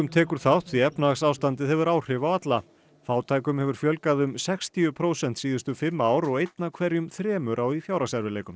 tekur þátt því efnahagsástandið hefur áhrif á alla fátækum hefur fjölgað um sextíu prósent síðustu fimm ár einn af hverjum þremur á í fjárhagserfiðleikum